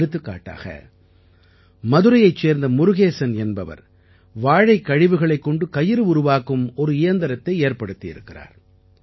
எடுத்துக்காட்டாக மதுரையைச் சேர்ந்த முருகேசன் என்பவர் வாழைக் கழிவுகளைக் கொண்டு கயிறு உருவாக்கும் ஒரு இயந்திரத்தை ஏற்படுத்தி இருக்கிறார்